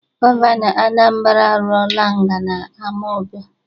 Gọvanọ Anambala arụọla nga na Amọbia.